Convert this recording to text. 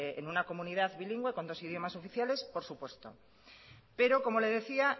es en una comunidad bilingüe con dos idiomas oficiales por supuesto pero como le decía